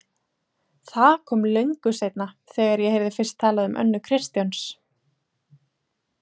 Það kom löngu seinna, þegar ég heyrði fyrst talað um Önnu Kristjáns.